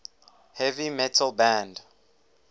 heavy metal band